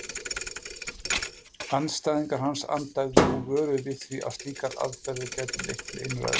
Andstæðingar hans andæfðu og vöruðu við því að slíkar aðferðir gætu leitt til einræðis.